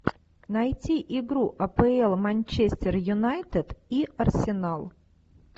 найти игру апл манчестер юнайтед и арсенал